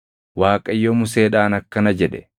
Waaqayyo Museedhaan akkana jedhe;